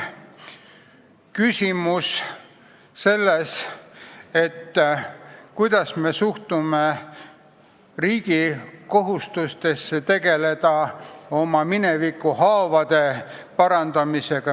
Küsimus on selles, kuidas me suhtume riigi kohustustesse tegeleda oma minevikuhaavade parandamisega.